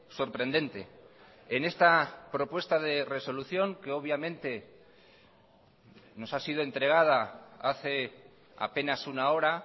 sorprendente en esta propuesta de resolución que obviamente nos ha sido entregada hace apenas una hora